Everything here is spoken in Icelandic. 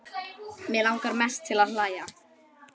Mig langar mest til að hlæja.